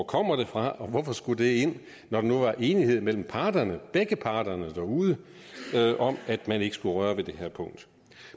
kommer fra og hvorfor det skulle ind når der nu var enighed mellem parterne begge parter derude om at man ikke skulle røre ved det her punkt